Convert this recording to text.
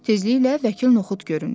Tezliklə vəkil Noxud göründü.